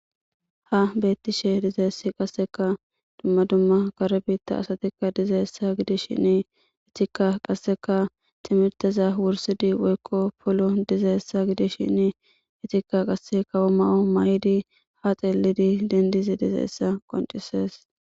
Ha bettishe dizayssikka dumma dumma kare biita asata giddishin isttika qasekka timrtteza wurssidi woyko polon dizayssa giddishin izetika kawo mayo mayidi ha xeelidi denddisha dizayssa besses.